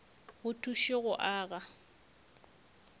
go thuše go o aga